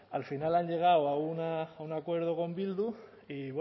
al final han llegado a un acuerdo con bildu y